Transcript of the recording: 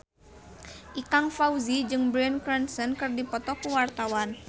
Ikang Fawzi jeung Bryan Cranston keur dipoto ku wartawan